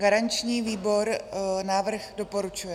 Garanční výbor návrh doporučuje.